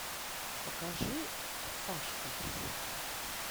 покажи сашка